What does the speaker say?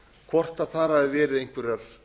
hvort þar hafi verið einhverjar